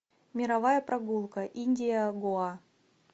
мировая прогулка индия гоа